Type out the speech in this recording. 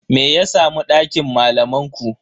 Me ya samu dakin malaman ku?